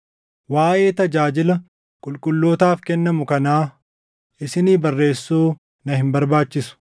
Waaʼee tajaajila qulqullootaaf kennamu kanaa isinii barreessuu na hin barbaachisu.